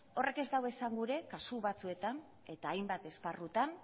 horrek ez du esangura kasu batzuetan eta hainbat esparrutan